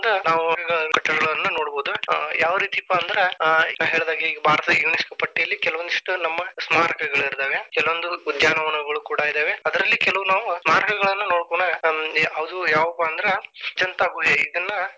ಒಂದ ಕಟ್ಟಡಗಳನ್ನ ನೋಡಬಹುದು. ಯಾವರೀತಿಪಾ ಅಂದ್ರ ನಾ ಹೇಳಿದಾಗೆ ಭಾರತದ UNESCO ಪಟ್ಟಿಯಲ್ಲಿ ಕೆಲವೊಂದಿಷ್ಟ ನಮ್ಮ ಸ್ಮಾರಕಗಳಿದ್ದಾವೆ, ಕೆಲವೊಂದು ಉದ್ಯಾನವನಗಳು ಕೂಡಾ ಇದಾವೆ ಅದ್ರಲ್ಲಿ ಕೆಲವು ನಾವು ಸ್ಮಾರಕ ಗಳನ್ನ ನೋಡಬಹುದು ಅದು ಯಾವಪಾ ಅಂದ್ರ ಅಜಂತಾ ಗುಹೆ ಇದನ್ನ.